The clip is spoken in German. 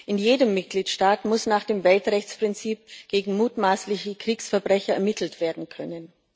In jedem Mitgliedstaat muss nach dem Weltrechtsprinzip gegen mutmaßliche Kriegsverbrecher ermittelt werden können.